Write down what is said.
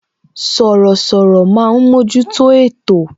Sọ̀rọ̀sọ̀rọ̀ máa ń mojuto ètò